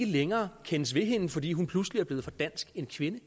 længere kendes ved hende fordi hun pludselig er blevet for dansk en kvinde